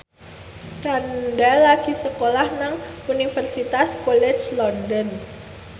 Franda lagi sekolah nang Universitas College London